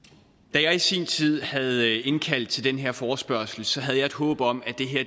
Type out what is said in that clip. da jeg i sin tid havde indkaldt til den her forespørgsel havde jeg et håb om at det her